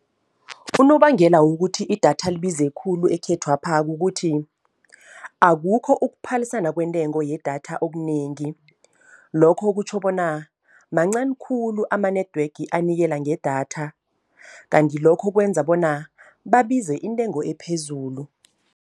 Unobangela wokuthi idatha libize khulu ekhethwapha kukuthi, akukho ukuphalisana kwentengo yedatha okunengi. Lokho kutjho bona mancani khulu ama-network anikela ngedatha, kanti lokho kwenza bona babize intengo ephezulu.